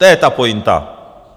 To je ta pointa.